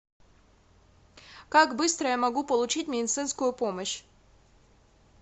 как быстро я могу получить медицинскую помощь